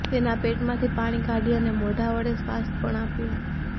તેના પેટમાંથી પાણી કાઢી અને મોઢાં વડે શ્વાસ પણ આપ્યો